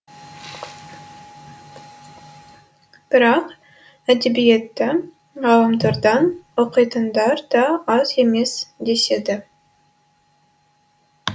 бірақ әдебиетті ғаламтордан оқитындар да аз емес деседі